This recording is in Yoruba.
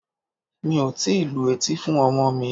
Mi ò tíì lu etí fún ọmọ mi.